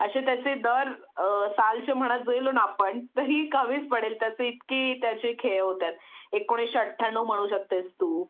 अशे त्याचे दार सालचे म्हणत जेलो ना आपण तरीही कमीच पडेल त्याचे इतकी त्याचे खे होत्यात एकोणीशे अत्त्याण्णव म्हणू शकतेस तू